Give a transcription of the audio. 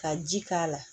Ka ji k'a la